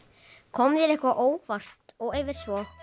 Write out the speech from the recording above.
kom þér eitthvað á óvart og ef svo